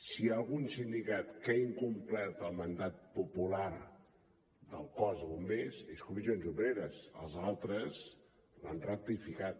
si hi ha algun sindicat que ha incomplert el mandat popular del cos de bombers és comissions obreres els altres l’han ratificat